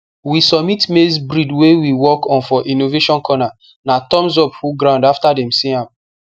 we submit maize breed wey we work on for innovation corner na thumbsup full ground after dem see am